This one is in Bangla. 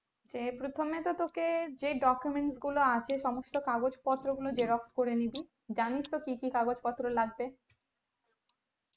যে প্রথমে তো তোকে যে document গুলো আছে সমস্ত কাগজ পত্র গুলো xerox করে নিবি জানিস তো কি কি কাগজ পত্র লাগবে